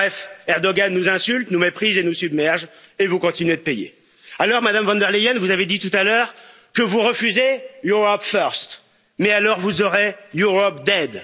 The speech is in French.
Bref, Erdoğan nous insulte, nous méprise et nous submerge, et vous continuez de payer. Alors, Madame von der Leyen, vous avez dit tout à l'heure que vous refusez Europe first, mais alors, vous aurez Europe